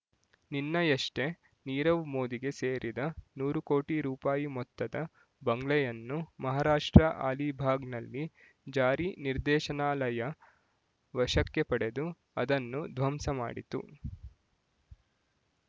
ನಿನ್ನಯಷ್ಟೇ ನೀರವ್ ಮೋದಿಗೆ ಸೇರಿದ ನೂರು ಕೋಟಿರೂಪಾಯಿ ಮೊತ್ತದ ಬಂಗ್ಲೆಯನ್ನು ಮಹಾರಾಷ್ಟ್ರ ಆಲಿಭಾಗ್‌ನಲ್ಲಿ ಜಾರಿ ನಿರ್ದೇಶನಾಲಯ ವಶಕ್ಕೆ ಪಡೆದು ಅದನ್ನು ಧ್ವಂಸ ಮಾಡಿತು